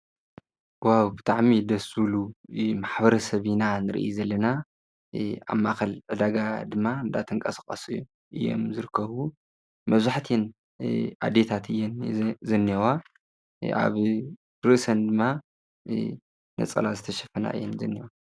ዋብ ብጥዕሚ ደሱሉ ማኅብረ ሰቢና ን ርኢ ዘለና ኣብ ማኸል ዕዳጋ ድማ እንዳተንቃስቛስ እየም ዘርከዉ መዙኅትን ኣዴታት የን ዘኔዋ ኣብ ርእሰን ድማ ነጸላ ዘተሽፈና እየን ዘነዋ